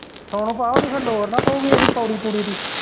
ਸੋਨੂੰ ਭਾ ਓਦੀ ਫੇਰ ਲੋੜ ਨੀ ਪਊਗੀ ਓਦੀ ਪੌੜੀ ਪੁੜੀ ਦੀ।